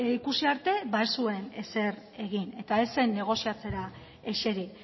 ikusi arte ez zuen ezer egin eta ez zer negoziatzera eseri